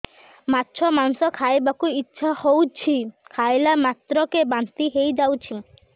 ମାଛ ମାଂସ ଖାଇ ବାକୁ ଇଚ୍ଛା ହଉଛି ଖାଇଲା ମାତ୍ରକେ ବାନ୍ତି ହେଇଯାଉଛି